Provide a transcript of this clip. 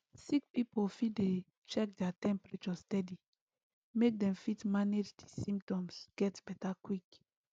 sick pipo fit dey check their temperature steady make dem fit manage di symptoms get beta quick